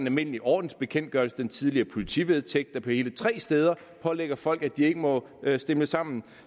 almindelige ordensbekendtgørelse den tidligere politivedtægt der hele tre steder pålægger folk at de ikke må stimle sammen